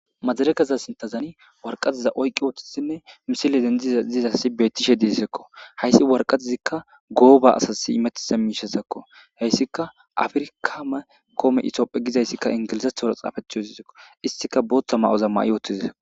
Madireekeza sinththa waraqate oyqqi uttisinne misile dentishe dizayssazi beettishe dizayssako. Hayssi waraqatezikka gooba asasi imettiza miishshezakko. Hayssikka Afrika kom itophphiya gizayssi inglizeththora xaafeti uttideskko. Issi qasse booththa ma'o ma'i uttides.